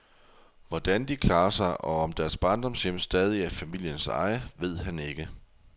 Hvordan de klarer sig, og om deres barndomshjem stadig er i familiens eje, ved han ikke.